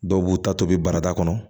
Dɔw b'u ta tobi barada kɔnɔ